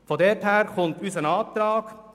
Das ist die Grundlage unseres Antrags.